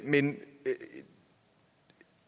men